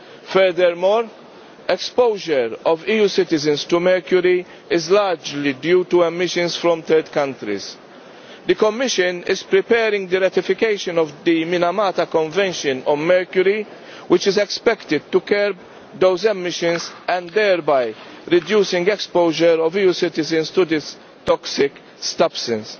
Furthermore exposure of EU citizens to mercury is largely due to emissions from third countries. The Commission is preparing the ratification of the Minamata Convention on Mercury which is expected to curb those emissions and thereby reduce exposure of EU citizens to this toxic substance.